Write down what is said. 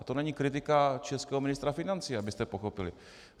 A to není kritika českého ministra financí, abyste pochopili.